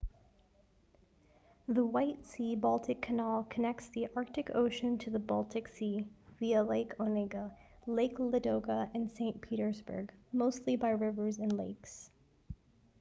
the white sea-baltic canal connects the arctic ocean to the baltic sea via lake onega lake ladoga and saint petersburg mostly by rivers and lakes